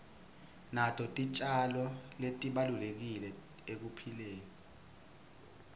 nato titjalo tibalulekile ekuphileni